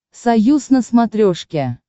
союз на смотрешке